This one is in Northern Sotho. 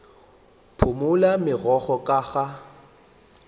phumole gobjalo megokgo ka a